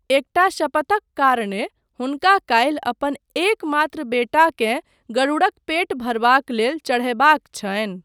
एकटा शपथक कारणे, हुनका काल्हि अपन एकमात्र बेटाकेँ गरुड़क पेट भरबाक लेल चढ़यबाक छनि।